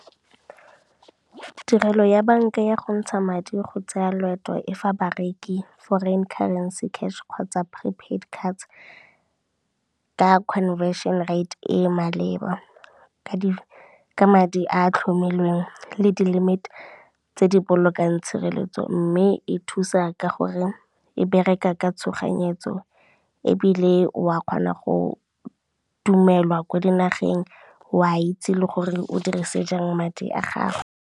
Tirelo ya banka ya go ntsha madi go tsaya loeto e fa bareki foreign currency cash kgotsa prepaid cards, ka conversion rate e maleba, ka madi a a tlhomilweng le di-limit tse di bolokang tshireletso, mme e thusa ka gore e bereka ka tshoganyetso ebile wa kgona go dumelwa ko dinageng, wa itse le gore o dirise jang madi a gago.